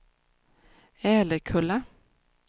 Älekulla